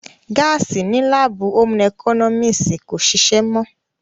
Gáàsì ní láàbù ómú ẹkọ́nọ́mísì kò ṣìṣé mọ́